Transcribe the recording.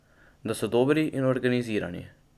Da so dobri in organizirani.